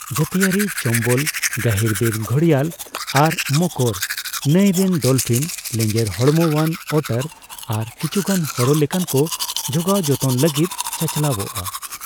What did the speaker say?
ᱡᱟᱹᱛᱤᱭᱟᱹᱨᱤ ᱪᱚᱢᱵᱚᱞ ᱜᱟᱹᱦᱤᱨᱵᱤᱨ ᱜᱷᱚᱲᱤᱭᱟᱞ ᱟᱨ ᱢᱚᱠᱚᱨ, ᱱᱟᱹᱭ ᱨᱮᱱ ᱰᱚᱞᱯᱷᱤᱱ, ᱞᱮᱸᱡᱮᱨ ᱦᱚᱲᱢᱚᱣᱟᱱ ᱳᱴᱟᱨ ᱟᱨ ᱠᱤᱪᱷᱩᱜᱟᱱ ᱦᱚᱨᱚ ᱞᱮᱠᱟᱱ ᱠᱚ ᱡᱚᱜᱟᱣ ᱡᱚᱛᱚᱱ ᱞᱟᱹᱜᱤᱫ ᱪᱟᱪᱞᱟᱣᱚᱜᱼᱟ ᱾